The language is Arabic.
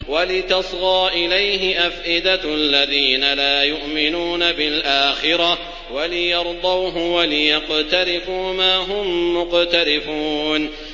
وَلِتَصْغَىٰ إِلَيْهِ أَفْئِدَةُ الَّذِينَ لَا يُؤْمِنُونَ بِالْآخِرَةِ وَلِيَرْضَوْهُ وَلِيَقْتَرِفُوا مَا هُم مُّقْتَرِفُونَ